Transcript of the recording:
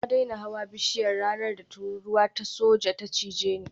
Na daina hawan bishiya ranar da tururuwa ta soja ta cini